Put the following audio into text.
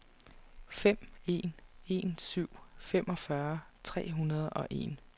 fem en en syv femogfyrre tre hundrede og en